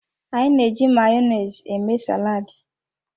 Anyị na-eji Mayonezi eme saladi.